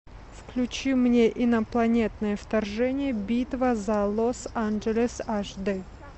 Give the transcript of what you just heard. включи мне инопланетное вторжение битва за лос анджелес аш дэ